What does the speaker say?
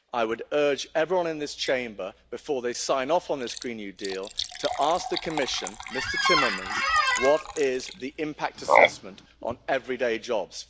I would urge everyone in this Chamber, before they sign off on this Green New Deal, to ask the Commission, Mr Timmermans, what the impact assessment is on everyday jobs.